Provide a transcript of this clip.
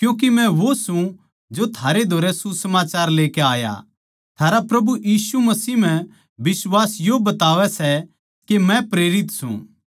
क्यूँके मै वो सूं जो थारे धोरै सुसमाचार लेकै आया थारा प्रभु यीशु मसीह म्ह बिश्वास यो बतावै सै के मै प्रेरित सूं